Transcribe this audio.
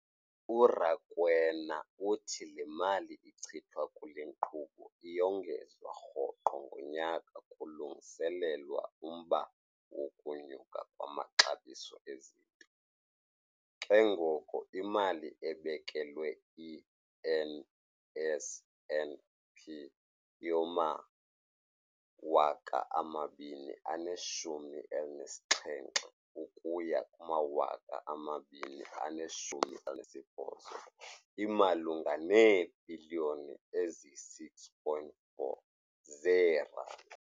URakwena uthi le mali ichithwa kule nkqubo iyongezwa rhoqo ngonyaka kulungiselelwa umba wokunyuka kwamaxabiso ezinto, ke ngoko imali ebekelwe i-NSNP yowama-2017ukuya ku-2018 imalunga neebhiliyoni eziyi-6.4 zeerandi.